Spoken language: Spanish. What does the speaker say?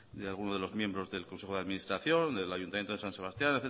de algunos de los miembros del consejo de administración del ayuntamiento de san sebastián